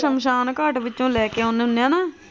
ਸ਼ਮਸ਼ਾਨਘਾਟ ਵਿਚੋਂ ਲੈ ਕੇ ਆ ਨੇ ਹੰਨੇ ਹੈ ਨਾ।